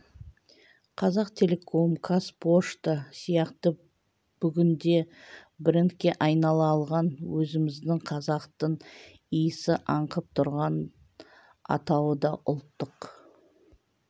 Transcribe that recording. қазақтелеком қазпошта сияқты бүгінде брендке айнала алған өзіміздің қазақтың иісі аңқып тұрған атауы да ұлттық